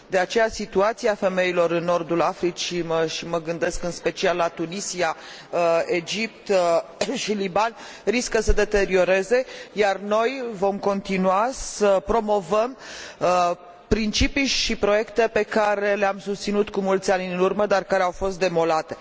De aceea, situația femeilor în nordul Africii și mă gândesc în special la Tunisia, Egipt și Liban riscă să se deterioreze, iar noi vom continua să promovăm principii și proiecte pe care le am susținut cu mulți ani în urmă, dar care au fost demolate.